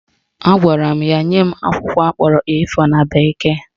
Agwara m ya nye m akwụkwọ akpọrọ A4 na bekee